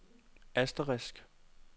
asterisk